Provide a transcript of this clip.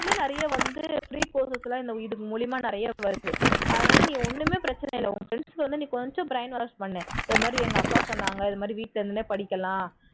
இன்னும் நிறைய வந்து free courses எல்லாம் இது மூலமா நிறைய வருது அதுனால இப்போ ஒண்ணுமே பிரச்சினை இல்லை உன் friends ஐ வந்து கொஞ்சம் brain wash பண்ணு இந்த மாதிரி எங்க அக்கா சொன்னாங்க இது மாதிரி வீட்ல இருந்தே படிக்கலாம்